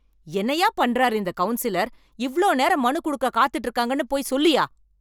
என்னயா பண்றாரு இந்த கவுன்சிலர், இவ்ளோ நேரம் மனு குடுக்க காத்துட்டு இருக்காங்கன்னு போய் சொல்லுயா.